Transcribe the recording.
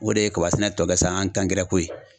O de ye kaba sɛnɛ tɔ kɛ sa an ta ko ye.